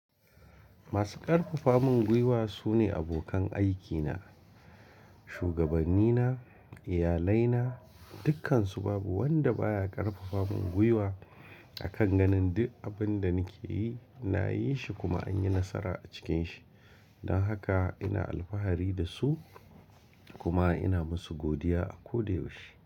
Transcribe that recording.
Masu ƙarfafa min gwiwa su ne abokan aikina, shugabanni na, iyalai na, dukkansu babu wanda baya ƙarfafa min gwiwa akan ganin di abin da nake yi, nayi shi kuma an yi nasara a cikin shi. Dan haka ina alfahari da su kuma ina masu godiya a ko da yaushe.